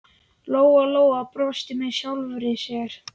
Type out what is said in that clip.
Lóa-Lóa brosti með sjálfri sér.